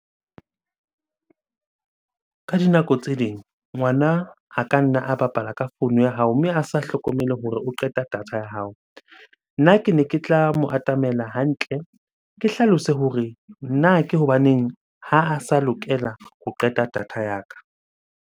Ka dinako tse ding ngwana a ka nna a bapala ka founu ya hao, mme a sa hlokomele hore o qeta data ya hao. Nna kene ke tla mo atamela hantle, ke hlalose hore na ke hobaneng ha a sa lokela ho qeta data ya ka?